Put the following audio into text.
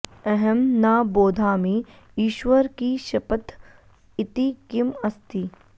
अहं न बोधामि इश्वर की शपथ इति किम् अस्ति